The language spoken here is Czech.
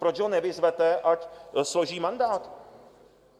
Proč ho nevyzvete, ať složí mandát?